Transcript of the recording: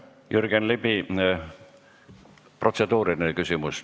Jürgen Ligi, protseduuriline küsimus.